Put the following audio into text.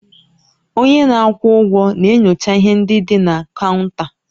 Onye na-akwụ ụgwọ na-enyocha ihe ndị dị na kaụnta